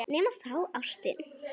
Nema þá ástin.